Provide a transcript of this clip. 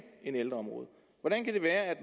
end ældreområdet hvordan kan det være at